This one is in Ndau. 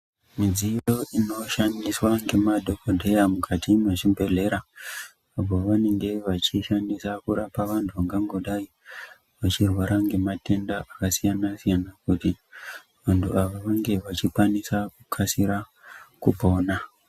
Midziyo inoshandiswa ngemadhokodheya mukati mwezvibhedhlera apo vanenge vachishandisa kurapa vantu vangangodai vachirwara ngematenda akasiyana siyana kuti vantu ava vange vachikwanisa kukasira kupona.